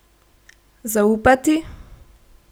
Zaupati?